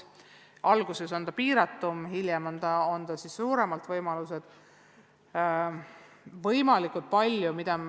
Alguses on ta piiratum, hiljem võimalused suurenevad.